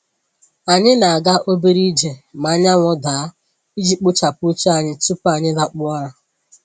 Anyị na-aga obere ije ma anyanwụ daa iji kpochapụ uche anyị tupu anyị lakpuo ụra.